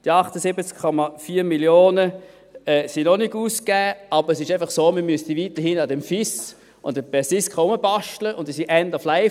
Die 78,4 Mio. Franken sind noch nicht ausgegeben, aber es ist einfach so, dass man weiterhin an diesem FIS oder PERSISKA rumbasteln müsste, und diese sind end of life.